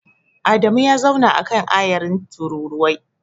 Adamu ya zauna a kan ayarin tururuwai.